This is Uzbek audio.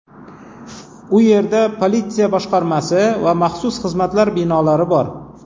U yerda politsiya boshqarmasi va maxsus xizmatlar binolari bor.